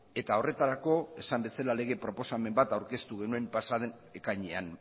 eta horretarako esan bezala lege proposamen bat aurkeztu genuen pasa den ekainean